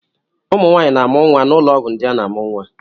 Ụmụ nwanyị na-amụ nwa n'ụlọọgwụ na ụlọ ndị a na-amụ nwa.